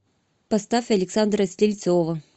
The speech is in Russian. поставь александра стрельцова